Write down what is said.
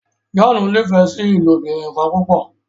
John n'ifẹ sí ilobirin kán púpọ.